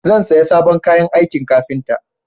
Zan saya sabon kayan aikin kafinta